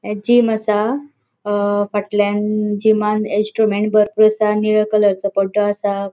ये जिम असा फाटल्यान जिमान इंस्ट्रुमेंट्स बरपुर असा आणि निळ्या कलराचो पद्दो असा.